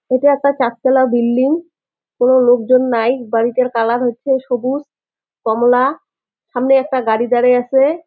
এটা একটা চারতলা বিল্ডিং কোনো লোকজন নাই বাড়িটার কালার হচ্ছে সবুজ কমলা সামনে একটা গাড়ি দাড়ায় আছে।